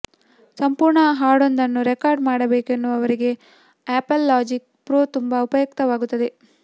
ಸಂಪೂರ್ಣ ಹಾಡೊಂದನ್ನು ರೆಕಾರ್ಡ್ ಮಾಡಬೇಕೆನ್ನುವವರಿಗೆ ಆಪಲ್ ಲಾಜಿಕ್ ಪ್ರೋ ತುಂಬ ಉಪಯುಕ್ತವಾಗುತ್ತದೆ